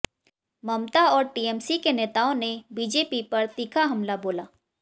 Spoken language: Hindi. ममता और टीएमसी के नेताओं ने बीजेपी पर तीखा हमला बोला